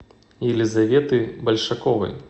елизаветы большаковой